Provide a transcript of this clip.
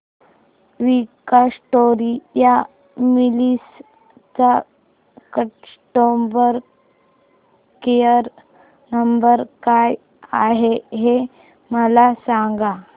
Victoria Mills चा customer care number काय आहे हे मला सांगा